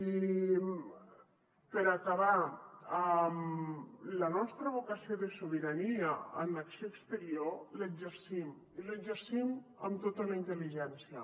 i per acabar la nostra vocació de sobirania en acció exterior l’exercim i l’exercim amb tota la intel·ligència